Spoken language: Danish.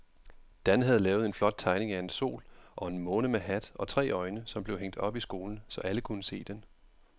Dan havde lavet en flot tegning af en sol og en måne med hat og tre øjne, som blev hængt op i skolen, så alle kunne se den.